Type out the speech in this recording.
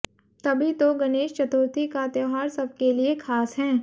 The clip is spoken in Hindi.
तभी तो गणेश चतुर्थी का त्योहार सबके लिए खास हैं